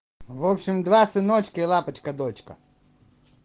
в общем два сыночка и лапочка дочка